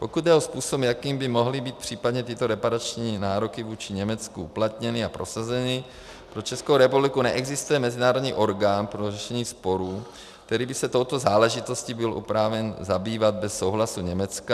Pokud jde o způsob, jakým by mohly být případně tyto reparační nároky vůči Německu uplatněny a prosazeny, pro Českou republiku neexistuje mezinárodní orgán pro řešení sporů, který by se touto záležitostí byl oprávněn zabývat bez souhlasu Německa.